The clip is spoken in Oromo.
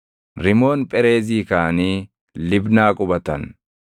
Rimoon Phereezii kaʼanii Libnaa qubatan.